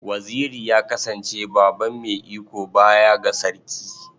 Waziri ya kasance baban mai iko baya ga Sarki.